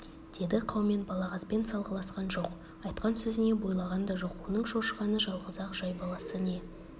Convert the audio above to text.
деді қаумен балағазбен салғыласқан жоқ айтқан сөзіне бойлаған да жоқ оның шошығаны жалғыз-ақ жай баласы не